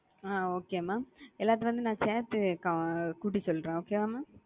அ okay mam எல்லாத்தையும் வந்து சேத்து நா கூட்டி சொல்றேன் okay வா mam?